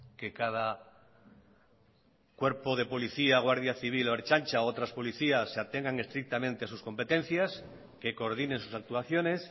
que cada cuerpo de policía guardia civil o ertzaina u otras policías se atengan estrictamente a sus competencias que coordinen sus actuaciones